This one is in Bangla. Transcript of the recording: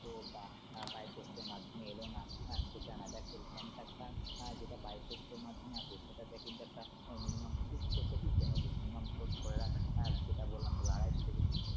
তো বা by post এর মাধ্যমে এলো না আহ সেটা Pan card টা যেটা by post এর মাধ্যমে আসে সেটাতে কিন্তু একটা minimum fees তোকে দিতে হবে minimum তোর ধরা যাক যেটা বললাম তোকে আড়াইশ থেকে তিনশ